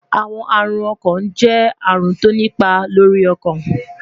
Awọn arun ọkan jẹ arun ti o ni ipa lori ọkan